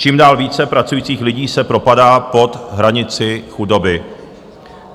Čím dál více pracujících lidí se propadá pod hranici chudoby.